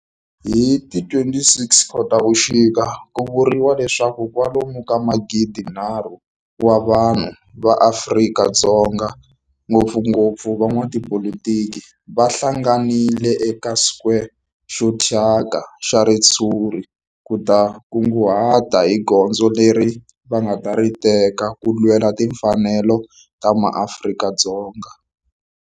Hi ti 26 Khotavuxika ku vuriwa leswaku kwalomu ka magidinharhu wa vanhu va Afrika-Dzonga, ngopfungopfu van'watipolitiki va hlanganile eka square xo thyaka xa ritshuri ku ta kunguhata hi goza leri va nga ta ri teka ku lwela timfanelo ta maAfrika-Dzonga.